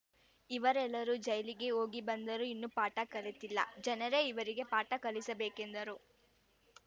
ಇವರೆಲ್ಲರೂ ಜೈಲಿಗೆ ಹೋಗಿಬಂದರೂ ಇನ್ನೂ ಪಾಠ ಕಲಿತಿಲ್ಲ ಜನರೇ ಇವರಿಗೆ ಪಾಠ ಕಲಿಸಬೇಕೆಂದರು